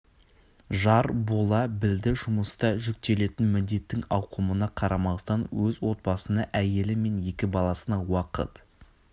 жар бола білді жұмыста жүктелетін міндеттің ауқымына қарамастан өз отбасына әйелі мен екі баласына уақыт